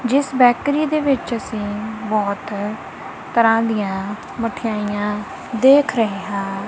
ਜਿੱਸ ਬੈਕਰੀ ਦੇ ਵਿੱਚ ਅੱਸੀਂ ਬੋਹੁਤ ਤਰਹਾਂ ਦਿਆਂ ਮੱਠੀਆਈਆਂ ਦੇਖ ਰਹੇ ਹਾਂ।